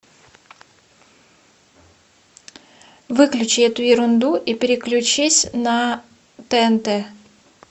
выключи эту ерунду и переключись на тнт